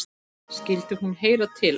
Skyldi hún heyra til hans?